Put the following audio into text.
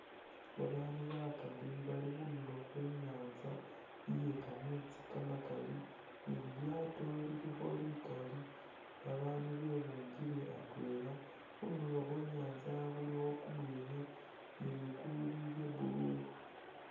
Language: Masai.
Babandu bakali bali khundulo khwenyatsa iyekameetsi kamakali ni lilyaato lilikho likali babandu bebunkile atwela khundulo khwenyatsa khulikho kumuyekhe ni ligulu lye blue